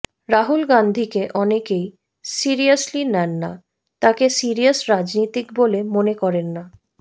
রাহুল গান্ধীকে অনেকেই সিরিয়াসলি নেন না তাঁকে সিরিয়াস রাজনীতিক বলে মনে করেন না